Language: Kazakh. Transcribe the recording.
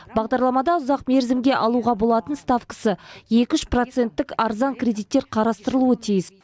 бағдарламада ұзақ мерзімге алуға болатын ставкасы екі үш проценттік арзан кредиттер қарастырылуы тиіс